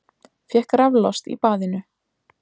Fékk raflost í baðinu